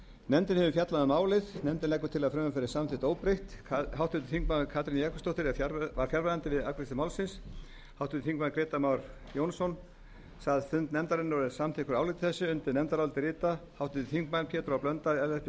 nefndin hefur fjallað um málið nefndin leggur til að frumvarpið verði samþykkt óbreytt háttvirtur þingmaður katrín jakobsdóttir var fjarverandi við afgreiðslu málsins háttvirtir þingmenn grétar mar jónsson sat fund nefndarinnar og er samþykkur áliti þessu undir nefndarálitið rita háttvirtir þingmenn pétur h blöndal ellert b schram ögmundur